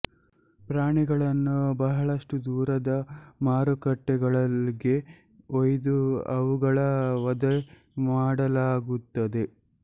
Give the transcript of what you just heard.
ಪ್ರಾಣಿಗಳನ್ನು ಬಹಳಷ್ಟು ದೂರದ ಮಾರುಕಟ್ಟೆಗಳಿಗೆ ಒಯ್ದು ಅವುಗಳ ವಧೆ ಮಾಡಲಾಗುತ್ತದೆ